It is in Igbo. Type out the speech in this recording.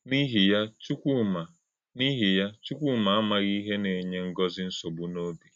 N’íhì̄ ya, Chùkwúmá N’íhì̄ ya, Chùkwúmá àmàghì̄ íhè̄ na - ènyè̄ Ngọ́zí̄ nsọ̀gbú̄ n’òbí.